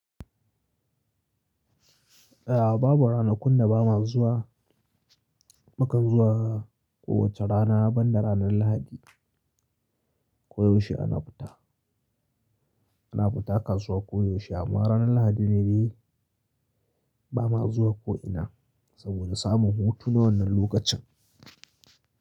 A'a babu ranakun da ba ma zuwa, mukan zuwa kowacce rana banda ranar Lahadi ko yaushe ana fita. Ana fita kasuwa ko yaushe amma ranar Lahadi ne dai ba ma zuwa ko ina saboda samun hutu na wannan lokacin.